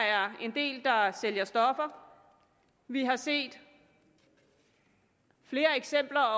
er en del der sælger stoffer og vi har set flere eksempler